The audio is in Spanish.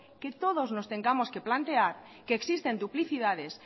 que todos nos tengamos que plantear que existen duplicidades